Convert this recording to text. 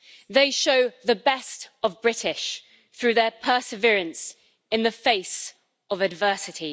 They show the best of British through their perseverance in the face of adversity.